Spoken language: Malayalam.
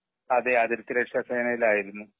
അതെ അതിർത്തി രെക്ഷ സേനയിൽ ആയിരുന്നു.